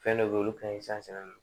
Fɛn dɔ be yen olu ka ɲi